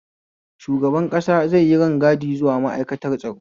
Shugaban ƙasa zai yi rangadi zuwa ma'aikatar tsaro